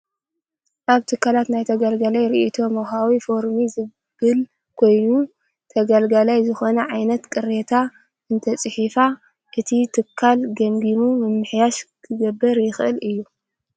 ኣብ ትካላት ናይ ተገልጋላይ ሪኢቶ መውሃቢ ፎርሚ ዝብል ኮይኑ፣ ተገልጋላይ ዝኮነ ዓይነት ቅሬታ እንተፂሒፉ እቲ ትካል ገምጊሙ ምምሕያሽ ክገብር ይክእል እዩ።